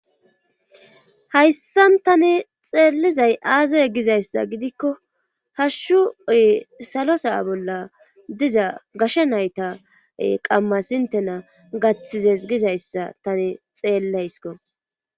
Hayssan tani xeellizay aazaye gizayssa gidikko hashshu oy salo saa bolla diza gasha nayta qammas intena gaththizes gizayssa tani xeelleysko.